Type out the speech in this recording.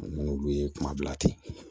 N'olu ye kuma bila ten